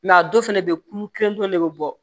a dɔw fɛnɛ bɛ ye kulu kelen kelen ne bɛ bɔ